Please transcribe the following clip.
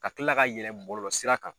Ka kila ka yɛlɛ bɔlɔlɔ sira kan.